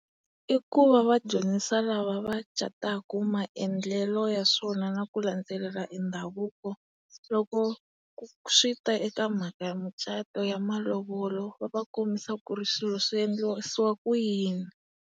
I ku va va dyondzisa lava va cataka maendlelo ya swona na ku landzelela e ndhavuko loko swi ta eka mhaka ya mucato ya malovolo va va kombisa ku ri swilo swi endlisiwa ku yini.